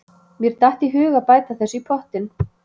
Mér datt í hug að bæta þessu í pottinn.